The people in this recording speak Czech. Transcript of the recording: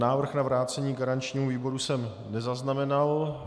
Návrh na vrácení garančnímu výboru jsem nezaznamenal.